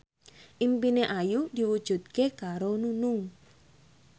impine Ayu diwujudke karo Nunung